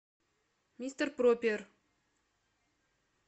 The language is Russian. мистер пропер